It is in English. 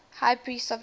high priests of israel